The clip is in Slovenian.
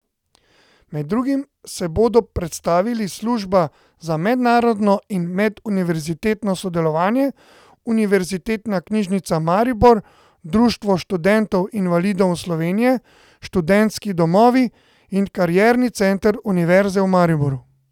Med drugim se bodo predstavili služba za mednarodno in meduniverzitetno sodelovanje, Univerzitetna knjižnica Maribor, Društvo študentov invalidov Slovenije, Študentski domovi in Karierni center Univerze v Mariboru.